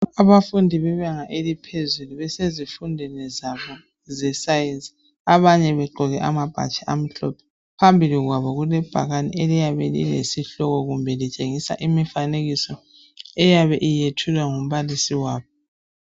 Abafundi bebanga eliphezulu besezifundweni zabo ze Science ,abanye begqoke amabhatshi amhlophe . Phambili kwabo kulebhakani eliyabe lilesihloko kumbe litshengisa imifanekiso eyabe iyethulwa ngumbalisi wabo.